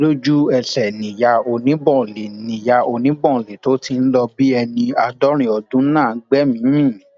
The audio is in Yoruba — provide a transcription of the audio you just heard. lójú ẹsẹ níyà oníbọ̀ọ̀lì níyà oníbọ̀ọ̀lì tó ti ń lọ bíi ẹni àádọrin ọdún náà gbẹmíín mi